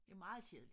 Det meget kedeligt